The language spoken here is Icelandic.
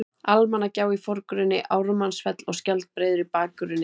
Almannagjá í forgrunni, Ármannsfell og Skjaldbreiður í bakgrunni.